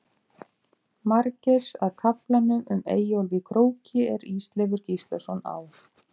Margeirs að kaflanum um Eyjólf í Króki er Ísleifur Gíslason á